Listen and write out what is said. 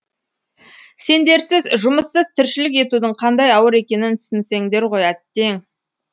сендерсіз жұмыссыз тіршілік етудің қандай ауыр екенін түсінсеңдер ғой әттең